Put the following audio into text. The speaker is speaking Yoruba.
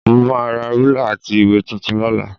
Mo máa ra rúlà àti ìwé tuntun lọ́la